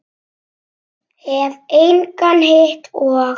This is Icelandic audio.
Hef engan hitt og.